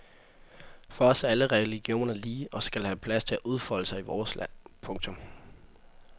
For os er alle religioner lige og skal have plads til at udfolde sig i vores land. punktum